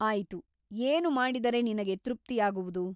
ಆಯಿತು ಏನು ಮಾಡಿದರೆ ನಿನಗೆ ತೃಪ್ತಿಯಾಗುವುದು?